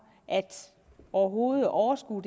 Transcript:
overhovedet at overskue